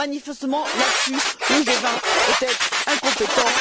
Manifestement, là dessus, le G20 était incompétent.